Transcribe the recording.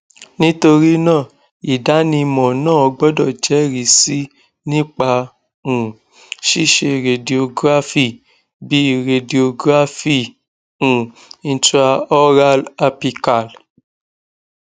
nitorina idanimọ naa gbọdọ jẹrisi nipa um ṣiṣe radiography bi radiography um intraoral apical